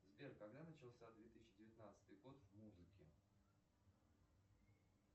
сбер когда начался две тысячи девятнадцатый год в музыке